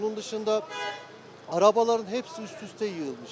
Onun dışında arabaların hepsi üst-üstə yığılmış.